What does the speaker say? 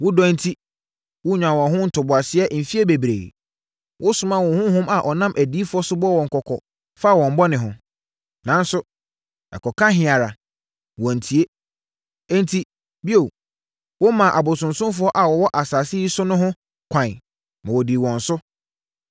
Wo dɔ enti, wonyaa wɔn ho ntoboaseɛ mfeɛ bebree. Wosomaa wo honhom a ɔnam adiyifoɔ so bɔɔ wɔn kɔkɔ faa wɔn bɔne ho. Nanso, ɛkɔka he ara a, wɔntie. Enti, bio, womaa abosonsomfoɔ a wɔwɔ asase yi so no ho kwan, ma wɔdii wɔn so.